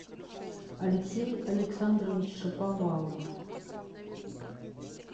алексей александрович шаповалов